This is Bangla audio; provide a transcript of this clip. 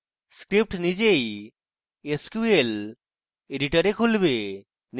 script নিজেই sql editor খুলবে